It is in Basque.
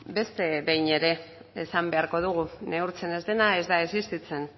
beste behin ere esan beharko dugu neurtzen ez dena ez dela existitzen